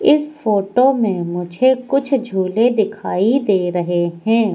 इस फोटो में मुझे कुछ झूले दिखाई दे रहे है।